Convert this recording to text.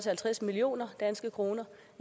jo